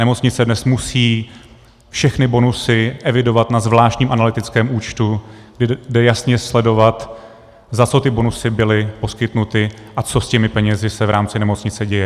Nemocnice dnes musí všechny bonusy evidovat na zvláštním analytickém účtu, kde lze jasně sledovat, za co ty bonusy byly poskytnuty a co s těmi penězi se v rámci nemocnice děje.